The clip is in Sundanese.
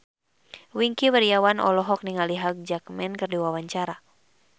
Wingky Wiryawan olohok ningali Hugh Jackman keur diwawancara